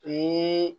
Ni